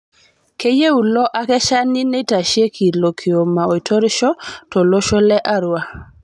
Keyieu ilo akeshani neitasheki ilo kioma oitorisho to losho le Arua